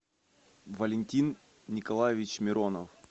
валентин николаевич миронов